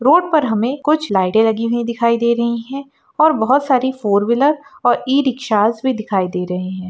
Road पर हमे कुछ लाइटें लगी हुई दिखाई दे रही है और बहुत सारी फोर व्हीलर और ई- रिक्शाज भी दिखाई दे रहे हैं।